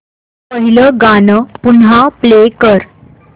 पहिलं गाणं पुन्हा प्ले कर